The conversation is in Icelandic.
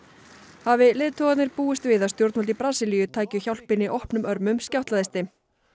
hafi leiðtogarnir búist við að stjórnvöld í Brasilíu tækju hjálpinni opnum örmum skjátlaðist þeim